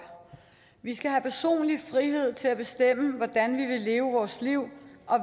vi skal have personlig frihed til at bestemme hvordan vi vil leve vores liv og